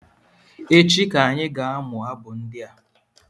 Echi ka anyị ga amụ abụ ndị a